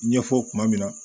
Ɲɛfɔ kuma min na